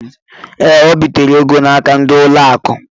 Ee, o bitere ego n'aka ndị ụlọ akụ.